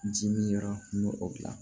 Ji min yɔrɔ n b'o o dilan